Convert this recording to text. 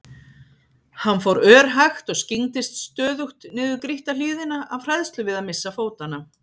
Hann fór örhægt og skyggndist stöðugt niður grýtta hlíðina af hræðslu við að missa fótanna.